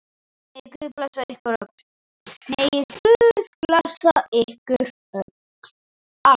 Megi Guð blessa ykkur öll.